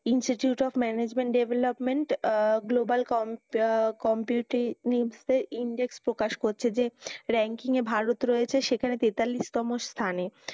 Institute of management development global completely index প্রকাশ করছে যে ranking য়ে ভারত রয়েছে সেখানে তেতাল্লিশ তম স্থানে।